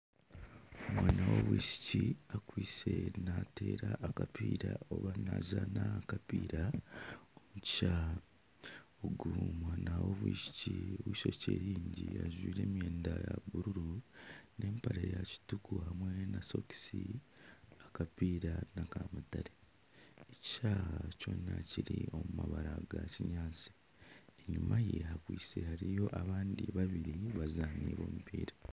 Omwana w'omwishiki akwitse nateera akapiira oba nazaana akapiira omu kishaayi, ogu omwana w'omwishiki ogw'eishokye ryingi ajwaire emyenda ya buruuru n'empare ya kituuku hamwe na sokisi, akapiira naka mutare ekishaayi kyona kiri omu mabara nga kinyaatsi enyuma ye hakwaitse hariyo abandi babiri abazaani b'omupiira.